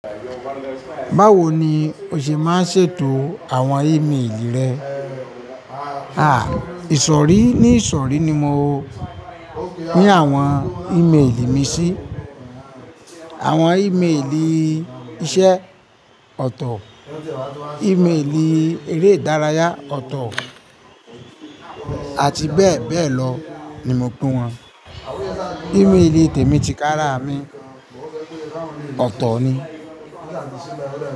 Báwo ni o ṣe máa ń ṣètò àwọn email rẹ? Àa ìsọ̀rí ní ìsọ̀rí ni mo ní àwọn email mi sí. Àwọn email ìṣe ọ̀tọ̀, email èré ìdárayá ọ̀tọ̀ àti bẹ́ẹ̀ bẹ́ẹ̀ lọ ni mo pín wọn. Email tè mí ti kára mi ọ̀tọ̀ ni.